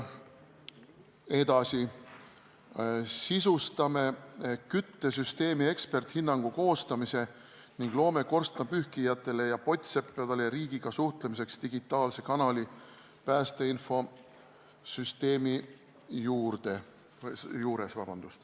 Edasi sisustame küttesüsteemi eksperdihinnangu koostamise ning loome korstnapühkijatele ja pottseppadele riigiga suhtlemiseks digitaalse kanali päästeinfosüsteemi juures.